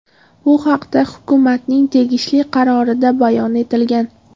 Bu haqda hukumatning tegishli qarorida bayon etilgan.